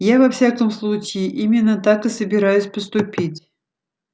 я во всяком случае именно так и собираюсь поступить